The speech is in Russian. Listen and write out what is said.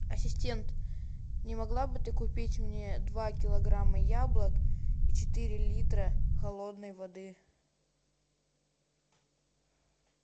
ассистент не могла бы ты купить мне два килограмма яблок и четыре литра холодной воды